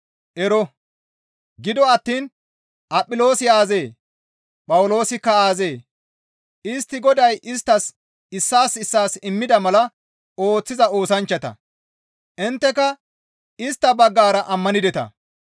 Ero! Gido attiin Aphiloosi aazee? Phawuloosikka aazee? Istti Goday isttas issaas issaas immida mala ooththiza oosanchchata; intteka istta baggara ammanideta.